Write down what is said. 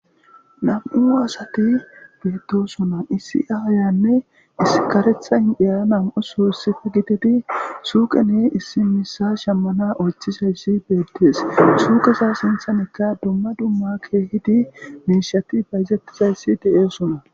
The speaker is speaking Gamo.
nam7u maasati geettosuna issi aayanne iskaretha indhiyaa nam7o su issife gitedi suuqene issi misa shemmana oychizayssi beettees suukesa sinthanekka dumma dumma keehidi miishati bayzettizayssi de7esuna